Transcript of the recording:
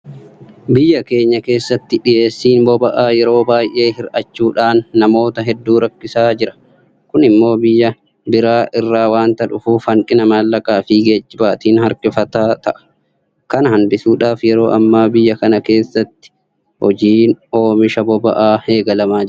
Biyya keenya keessatti dhiyeessiin boba'aa yeroo baay'ee hir'achuudhaan namoota hedduu rakkisaa jira. Kun immoo biyya biraa irraa waanta dhufuuf hanqina maallaqaafi geejibaatiin harkifataa ta'a. Kana hanbisuudhaaf yeroo ammaa biyya kana keessatti hojiin oomisha boba'aa eegalamaa jira.